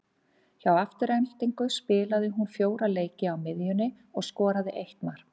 Hjá Aftureldingu spilaði hún fjóra leiki á miðjunni og skoraði eitt mark.